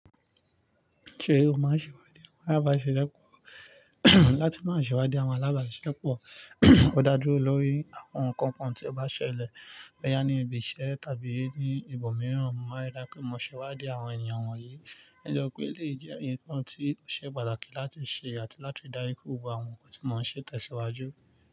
Ṣé o máa ń ṣèwádìí àwọn alábàáṣepọ̀? Láti má ṣe wádìí àwọn alábàáṣepọ̀, ó dá dúró lórí àwọn nǹkan kan tí ó bá ṣẹlẹ̀. Boya ní ibi iṣẹ́ tàbí ní ibòmíràn, máa rí dá pé mo ṣèwádìí àwọn ènìyàn wọ̀nyí. Nitoripe eleyi jẹ́ ǹkan tí ó ṣe pàtàkì láti ṣe àti láti ri daju pe gbogbo àwọn nkan ti mọ́ ń ṣè tẹ̀síwájú.